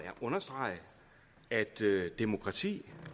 understrege at demokrati